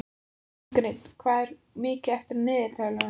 Ingrid, hvað er mikið eftir af niðurteljaranum?